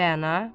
Rəna.